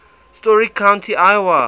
story county iowa